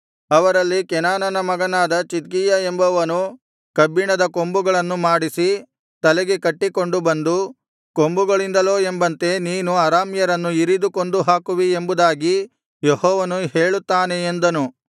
ಅವರಲ್ಲಿ ಕೆನಾನನ ಮಗನಾದ ಚಿದ್ಕೀಯ ಎಂಬವನು ಕಬ್ಬಿಣದ ಕೊಂಬುಗಳನ್ನು ಮಾಡಿಸಿ ತಲೆಗೆ ಕಟ್ಟಿಕೊಂಡು ಬಂದು ಕೊಂಬುಗಳಿಂದಲೋ ಎಂಬಂತೆ ನೀನು ಅರಾಮ್ಯರನ್ನು ಇರಿದು ಕೊಂದುಹಾಕುವಿ ಎಂಬುದಾಗಿ ಯೆಹೋವನು ಹೇಳುತ್ತಾನೆ ಎಂದನು